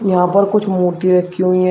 यहां पर कुछ मूर्ति रखी हुई हैं।